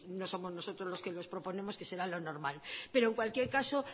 no somos nosotros los que los proponemos que será lo normal pero en cualquier caso